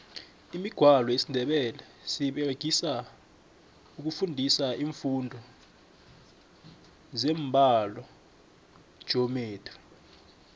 imigwalo yesindebele seyiberegiswa ukufundisa imfundo zembalogeometry